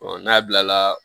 n'a bilala